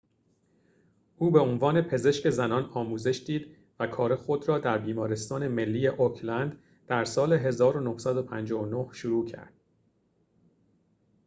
او به عنوان پزشک زنان آموزش دید و کار خود را در بیمارستان ملی اوکلند در سال ۱۹۵۹ شروع کرد